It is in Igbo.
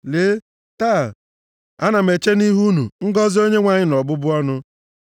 Lee, taa, ana m eche nʼihu unu ngọzị Onyenwe anyị na ọbụbụ ọnụ.